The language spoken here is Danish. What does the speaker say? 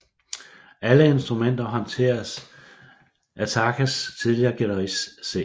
Alle instrumenter håndteres af Taakes tidligere guitarist C